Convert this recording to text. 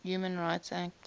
human rights act